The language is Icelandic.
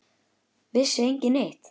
Vissi enginn neitt?